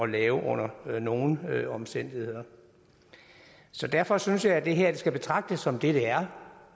lave under nogen omstændigheder så derfor synes jeg at det her skal betragtes som det det er